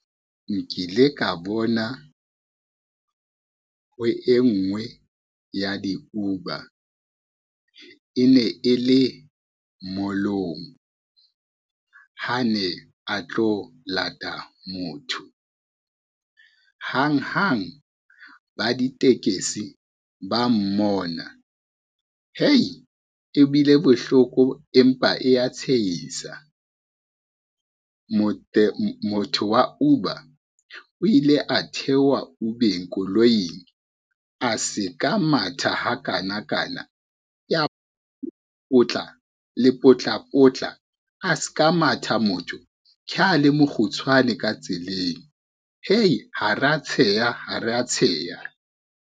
Nkile ka bona, ho e ngwe ya di-Uber e ne e le mall-ong ha ne a tlo lata motho, hanghang ba ditekesi ba mmona hei! ebile bohloko empa e ya tshehisa. Motho wa Uber o ile a theoha Uber-eng, koloing a se ka matha ha kanakana ya potla, le potlapotla a ska matha motho, ke ha le mokgutshwane ka tseleng hei ha re ya tsheha ha re ya tsheha.